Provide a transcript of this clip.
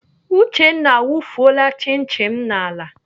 Uchenna awufuola chin chin m n'ala.